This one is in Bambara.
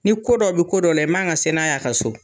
Ni ko dɔ bi ko dɔ la, i man ka se n'aye, a ka so.